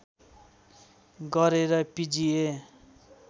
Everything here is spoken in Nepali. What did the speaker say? गरे र पिजिए